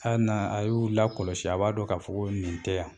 A na a y'u lakɔlɔsi a b'a dɔn ka fɔ ko nin tɛ yan.